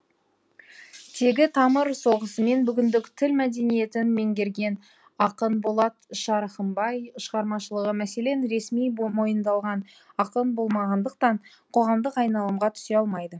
тегі тамыр соғысымен бүгіндік тіл мәдениетін меңгерген ақын болат шарахымбай шығармашылығы мәселен ресми мойындалған ақын болмағандықтан қоғамдық айналымға түсе алмайды